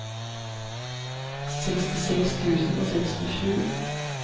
sekstiseks tusen og sekstisju